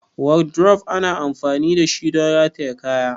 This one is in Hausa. Wardrobe ana amfani dashi don rataye kaya.